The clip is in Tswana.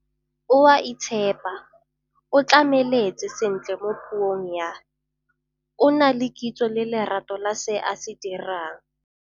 O a itshepa, o tlhamaletse sentle mo puong ya, o na le kitso le lerato la se a se dirang.